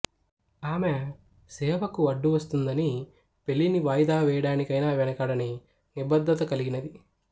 ఆమె సేవకు అడ్డు వస్తుందని పెళ్ళిని వాయిదా వేయడానికైనా వెనుకాడని నిబద్ధత కలిగినది